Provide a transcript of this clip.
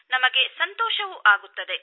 ನಮಗೆ ಸಂತೋಷವೂ ಆಗುತ್ತದೆ